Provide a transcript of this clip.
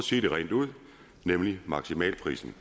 sige det rent ud nemlig maksimalprisen